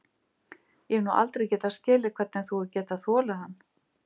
Ég hef aldrei getað skilið hvernig þú hefur getað þolað hann.